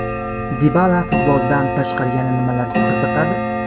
Dibala futboldan tashqari yana nimalarga qiziqadi?